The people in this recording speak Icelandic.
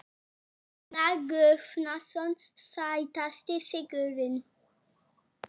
Ágúst Ólafsson: Hvenær má byrja að veiða grásleppu?